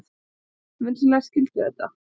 Vinsamlegast skildu þetta.